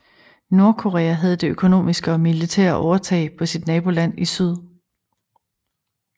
Nordkorea havde det økonomiske og militære overtag på sit naboland i syd